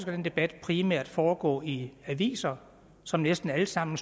den debat primært foregå i aviser som næsten alle sammen